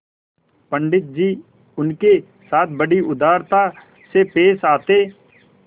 पंडित जी उनके साथ बड़ी उदारता से पेश आते